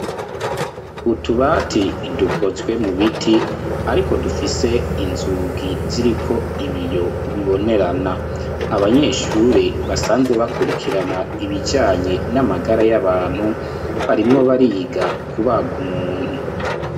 utubati dukozwe mu biti ariko dufise inzugi ziriko ibiyo bibonerana. Abanyeshuri basanzwe bakurikirana ibijyanye n'amagara y'abantu ,barimwo bariga kubaga umuntu.